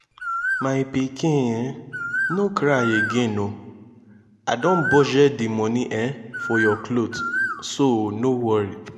my pikin no cry again oo i don budget the money um for your cloth so no worry